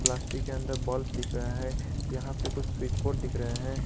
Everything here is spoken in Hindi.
प्लास्टिक के अंदर बल्ब दिख रहा है यहां पे कुछ स्विच बोर्ड दिख रहे हैं।